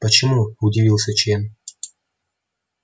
почему удивился чен